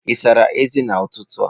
Ị sara ezé n'ụtụtụ a?